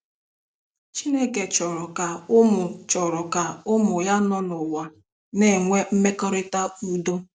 Chineke chọrọ ka ụmụ chọrọ ka ụmụ ya nọ n'ụwa na-enwe mmekọrịta udo.